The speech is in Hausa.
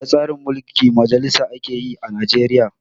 Ada tsarin mulkin majalisa ake yi a Najeriya